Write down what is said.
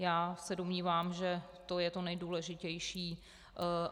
Já se domnívám, že to je to nejdůležitější.